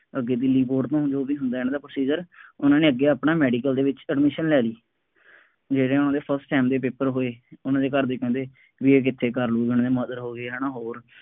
ਅੱਗੇ ਦਿੱਲੀ ਬੋਰਡ ਦੇ ਨਾਲ ਜੋ ਵੀ ਹੁੰਦਾ ਇਹਨਾ ਦਾ procedure, ਉਹਨਾ ਨੇ ਅੱਗੇ ਆਪਣਾ ਮੈਡੀਕਲ ਦੇ ਵਿੱਚ medical ਲੈ ਲਈ, ਜਿਹੜੇ ਉਹਨਾ ਦੇ first sem ਦੇ paper ਹੋਏ, ਉਹਨਾ ਦੇ ਘਰ ਦੇ ਕਹਿੰਦੇ ਬਈ ਇਹ ਕਿੱਥੇ ਕਰ ਲਉ, ਉਹਨਾ ਦੇ mother ਹੋ ਗਏ ਹੈ ਨਾ ਹੋਰ,